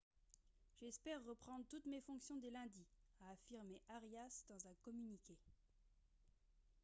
j'espère reprendre toutes mes fonctions dès lundi » a affirmé arias dans un communiqué